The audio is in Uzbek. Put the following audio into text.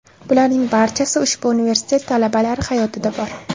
Bularning barchasi ushbu universitet talabalari hayotida bor.